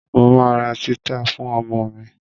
Mo ma ra títà fún ọmọ mi.